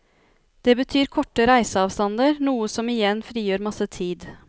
Det betyr korte reiseavstander, noe som igjen frigjør masse tid.